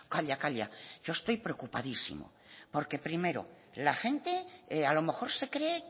calla calla que yo estoy preocupadísimo porque primero la gente a lo mejor se cree